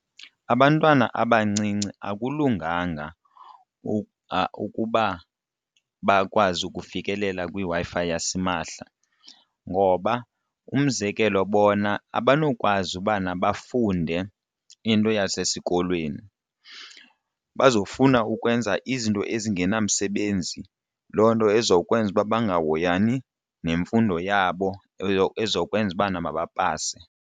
Abantwana abancinci akulunganga ukuba bakwazi ukufikelela kwiWi-Fi yasimahla ngoba umzekelo bona abanokwazi ubana bafunde into yasesikolweni bazofuna ukwenza izinto ezingenamsebenzi loo nto ezokwenza uba bangahoyani nemfundo yabo ezokwenza ubana mabapase.